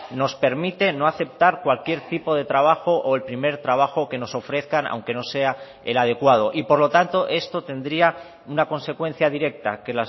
nos permite no aceptar cualquier tipo de trabajo o el primer trabajo que nos ofrezcan aunque no sea el adecuado y por lo tanto esto tendría una consecuencia directa que